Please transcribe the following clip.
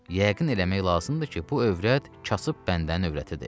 Yəqin eləmək lazımdır ki, bu övrət kasıb bəndən övrətidir.